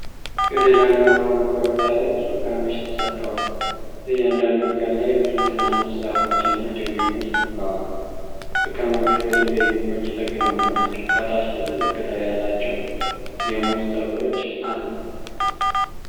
ገደላማ በሆነ ኮረብታ ላይ ብዙ እርከኖች ተሰርተዋል። በእያንዳንዱ እርከን ላይ ብዙ ትናንሽ ዛፎች እና ችግኞች ተክለዋል። እርከኖቹ በድንጋይ ግንቦች የተገነቡ ናቸው። ከታች ትልልቅ ቅጠል ያላቸው የሙዝ ተክሎችአሉ።